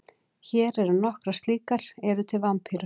Hér eru nokkrar slíkar: Eru til vampírur?